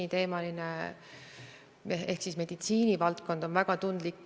Kas te olete ka eri ministeeriumidega pidanud uue aasta eelarve kontekstis läbirääkimisi, kuidas need katmised teoks saavad?